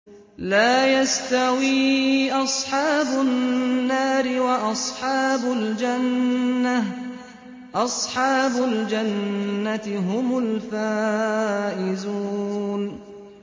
لَا يَسْتَوِي أَصْحَابُ النَّارِ وَأَصْحَابُ الْجَنَّةِ ۚ أَصْحَابُ الْجَنَّةِ هُمُ الْفَائِزُونَ